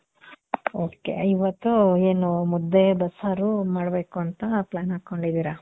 ok ಇವತ್ತು ಏನು ಮುದ್ದೆ ಬಸ್ಸಾರು ಮಾಡ್ಬೇಕು ಅಂತ plan ಹಾಕ್ಕೊಂಡಿದೀರ?